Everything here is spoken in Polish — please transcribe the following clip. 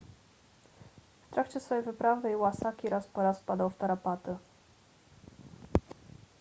w trakcie swej wyprawy iwasaki raz po raz wpadał w tarapaty